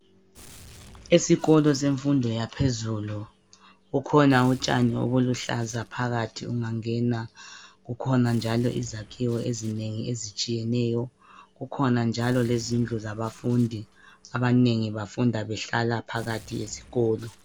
Esikolo semfundo yaphezulu kukhona utshani obuluhlaza phakathi ungangena kukhona njalo izakhiwo ezinengi ezitshiyeneyo, kukhona njalo izindlu zabafundi. Abanengi bafunda behlala phakathi esikolo.